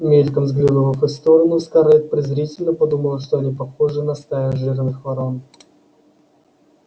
мельком взглянув в их сторону скарлетт презрительно подумала что они похожи на стаю жирных ворон